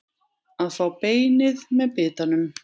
Að fá beinið með bitanum